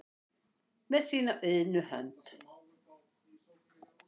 með sína iðnu hönd